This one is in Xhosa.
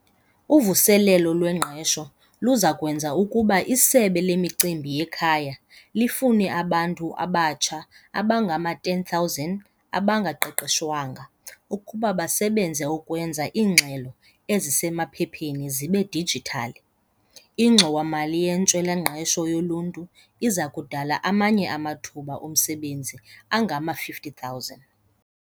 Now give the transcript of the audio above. Uvuselelo lwengqesho luza kwenza ukuba iSebe leMicimbi yeKhaya lifune abantu abatsha abangama-10 000 abangaqeshwanga ukuba basebenze ukwenza iingxelo esisemaphepheni zibe dijithali, iNgxowa-mali yeNtswela-ngqesho yoLuntu iza kudala amanye amathuba omsebenzi angama-50 000.